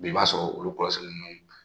I b'a sɔrɔ olu kɔlɔsi ninnu